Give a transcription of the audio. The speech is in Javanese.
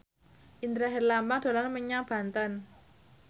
Indra Herlambang dolan menyang Banten